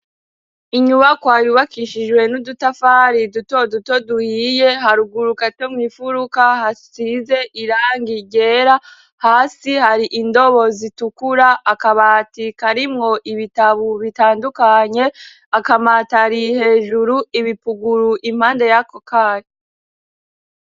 Inyubakwa yubakishijwe n'udutafari duto duto duhiye, haruguru gato mu mfuruka hasize irangi ryera, hasi hari indobo zitukura, akabati karimwo ibitabo bitandukanye, akamatari hejuru, ibipuguru impande yako kayo.